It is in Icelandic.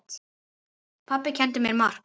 Pabbi kenndi mér margt.